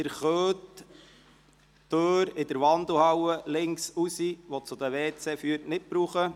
Sie können die Türe zwischen Wandelhalle und Treppenhaus, welche zu den Toiletten führt, nicht benutzen.